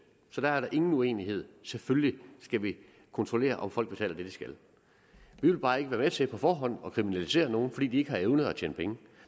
så der er der ingen uenighed selvfølgelig skal vi kontrollere om folk betaler det de skal vi vil bare ikke være med til på forhånd at kriminalisere nogen fordi de ikke har evnet at tjene penge